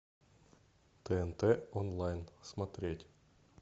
тнт онлайн смотреть